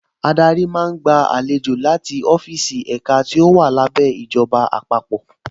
Adarí máa gba àlejò láti ọ́fíìsì ẹ̀ka tó wà lábẹ́ ìjọba àpapọ̀